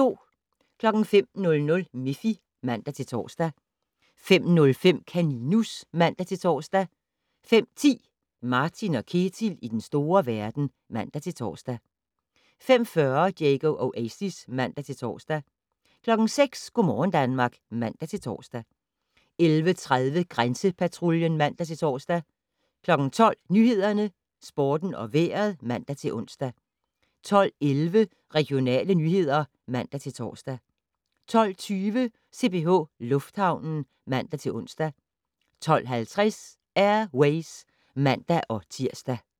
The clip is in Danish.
05:00: Miffy (man-tor) 05:05: Kaninus (man-tor) 05:10: Martin & Ketil i den store verden (man-tor) 05:40: Diego Oasis (man-tor) 06:00: Go' morgen Danmark (man-tor) 11:30: Grænsepatruljen (man-tor) 12:00: Nyhederne, Sporten og Vejret (man-ons) 12:11: Regionale nyheder (man-tor) 12:20: CPH Lufthavnen (man-ons) 12:50: Air Ways (man-tir)